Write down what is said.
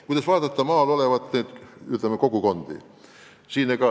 Küsimuse teine pool käsitles maal olevaid kogukondi.